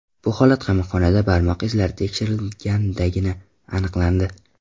Bu holat qamoqxonada barmoq izlari tekshirilgandagina aniqlandi.